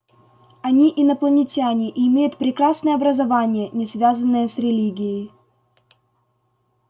они инопланетяне и имеют прекрасное образование не связанное с религией